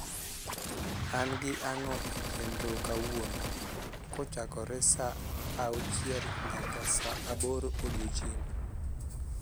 an gi ango' e chenro kawuono kochakore saa saa auchiel nyaka saa aboro odiechieng